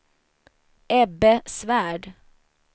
Ebbe Svärd